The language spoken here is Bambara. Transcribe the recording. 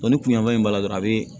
ni kun ɲɛfɔni b'a la dɔrɔn a bi